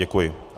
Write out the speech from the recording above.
Děkuji.